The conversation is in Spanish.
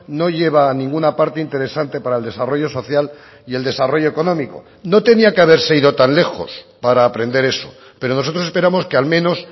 no lleva a ninguna parte interesante para el desarrollo social y el desarrollo económico no tenía que haberse ido tan lejos para aprender eso pero nosotros esperamos que al menos